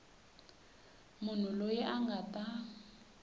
munhu loyi a nga ta